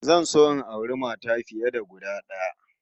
Zan so in auri mata fiye da guda d'aya